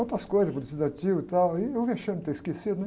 Outras coisas, Estudantil e tal, e o vexame de ter esquecido, né?